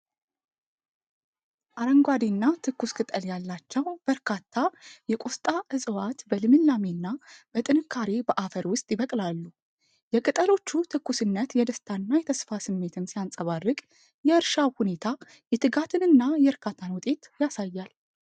አረንጓዴና ትኩስ ቅጠል ያላቸው በርካታ የቆስጣ እፅዋት በልምላሜ እና በጥንካሬ በአፈር ውስጥ ይበቅላሉ። የቅጠሎቹ ትኩስነት የደስታና የተስፋ ስሜትን ሲያንጸባርቅ፤ የእርሻው ሁኔታ የትጋትንና የእርካታን ውጤት ያሳያል።